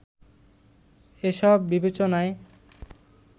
এসব বিবেচনায়